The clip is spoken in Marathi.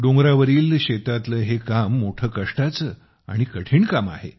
डोंगरावरील शेतातले हे काम मोठे कष्टाचे आणि कठीण काम आहे